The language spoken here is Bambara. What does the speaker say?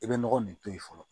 I bɛ nɔgɔ nin to yen fɔlɔ